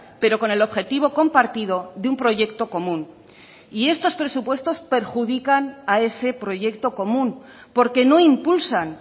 pero con el objetivo compartido de un proyecto común y estos presupuestos perjudican a ese proyecto común porque no impulsan